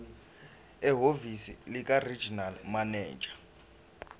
ehhovisi likaregional manager